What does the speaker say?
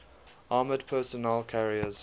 armoured personnel carriers